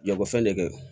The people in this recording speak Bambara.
Lakɔfɛn de kɛ